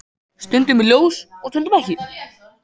Stundum er ljós og stundum ekki.